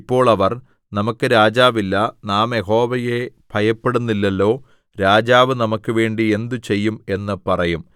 ഇപ്പോൾ അവർ നമുക്ക് രാജാവില്ല നാം യഹോവയെ ഭയപ്പെടുന്നില്ലല്ലോ രാജാവ് നമുക്കുവേണ്ടി എന്ത് ചെയ്യും എന്ന് പറയും